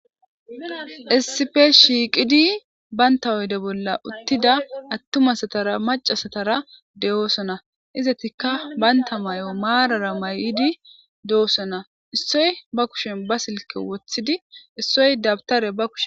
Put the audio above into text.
essipe shiiqidi baynta oyde bolla uttida attumasatara macasatara de7oosona izatikka baynta may7o maarara may7idi de7osona issoy ba kushen ba silke woththidi issoy dabtare ba kushn